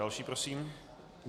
Další prosím.